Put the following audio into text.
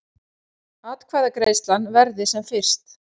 Atkvæðagreiðslan verði sem fyrst